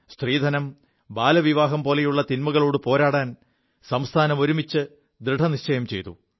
സ്ത്രീധനം ബാലവിവാഹം പോലുള്ള തിന്മകളോടു പോരാടാൻ സംസ്ഥാനം ഒരുമിച്ച് ദൃഢനിശ്ചയം ചെയ്തു